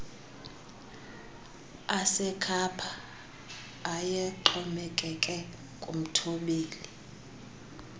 asekhapha ayexhomekeke kumthobeli